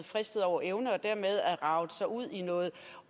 fristet over evne og dermed har raget sig ud i noget